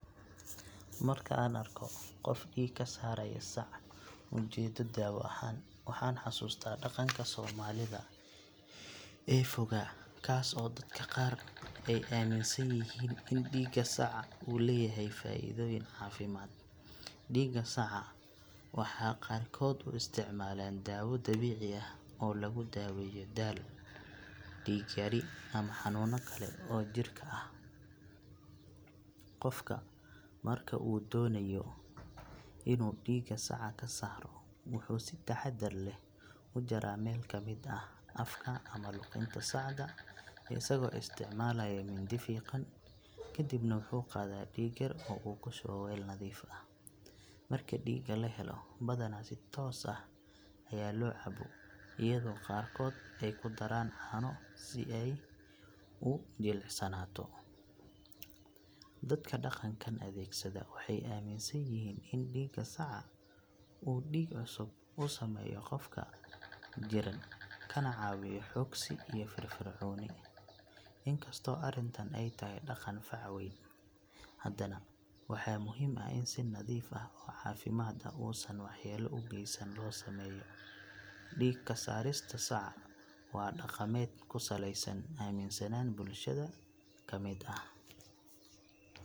Marka aan arko qof dhiig ka saaraya sac ujeeddo daawo ahaan, waxaan xasuustaa dhaqanka soomaalida ee fogaa kaas oo dadka qaar ay aaminsan yihiin in dhiigga saca uu leeyahay faa’iidooyin caafimaad. Dhiigga saca waxaa qaarkood u isticmaalaan daawo dabiici ah oo lagu daaweeyo daal, dhiig yari ama xanuunno kale oo jirka ah. Qofka marka uu doonayo inuu dhiig saca ka saaro, wuxuu si taxaddar leh u jaraa meel ka mid ah afka ama luqunta sacda isagoo isticmaalaya mindi fiiqan, kadibna wuxuu qaadaa dhiig yar oo uu ku shubo weel nadiif ah. Marka dhiigga la helo, badanaa si toos ah ayaa loo cabo iyadoo qaarkood ay ku daraan caano si uu u jilicsanaado. Dadka dhaqankan adeegsada waxay aaminsan yihiin in dhiigga saca uu dhiig cusub u sameeyo qofka jirran kana caawiyo xoogsi iyo firfircooni. In kastoo arrintani ay tahay dhaqan fac weyn, haddana waxaa muhiim ah in si nadiif ah oo caafimaad uusan waxyeello u geysanayn loo sameeyo. Dhiig ka saarista saca waa dhaqameed ku saleysan aaminsanaan bulshada ka mid ah.